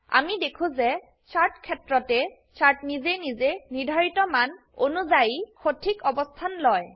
আমি দেখো যে চাৰ্ট ক্ষেত্ৰতে চাৰ্ট নিজে নিজেই নিৰ্ধাৰিত মান অনুযায়ী সঠিক অবস্থান লয়